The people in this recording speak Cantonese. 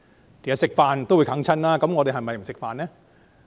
其實吃飯也會哽塞的，難道我們就不吃飯嗎？